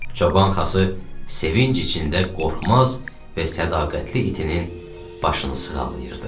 Çoban Xası sevinc içində qorxmaz və sədaqətli itinin başını sığallayırdı.